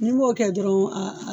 N'i m'o kɛ dɔrɔnw a a